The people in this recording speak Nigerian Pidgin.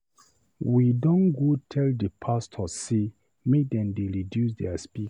We don go tell di pastor sey make dem dey reduce their speaker.